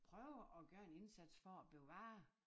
Prøve at gøre en indsats for at bevare